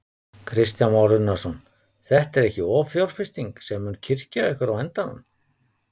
Kristján Már Unnarsson: Þetta er ekki offjárfesting sem mun kyrkja ykkur á endanum?